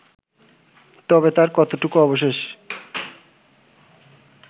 তবে তার কতটুকু অবশেষ